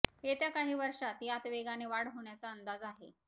येत्या काही वर्षात यात वेगाने वाढ होण्याचा अंदाज आहे